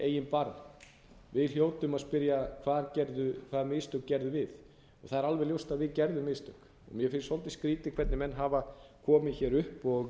eigin barm við hljótum að spyrja hvaða mistök gerðum við það er alveg ljóst að við gerðum mistök mér finnst svolítið skrýtið hvernig menn hafa komið hér upp og